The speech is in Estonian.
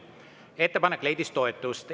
Ettepanek leidis toetust.